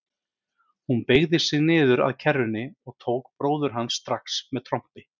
Hún beygði sig niður að kerrunni og tók bróður hans strax með trompi.